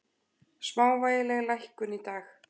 Smávægileg lækkun í dag